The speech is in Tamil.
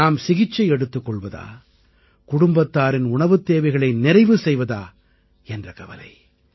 நாம் சிகிச்சை எடுத்துக் கொள்வதா குடும்பத்தாரின் உணவுத் தேவைகளை நிறைவு செய்வதா என்ற கவலை